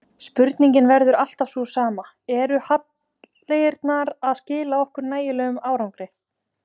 Spurningin verður alltaf sú sama, eru hallirnar að skila okkur nægilegum árangri?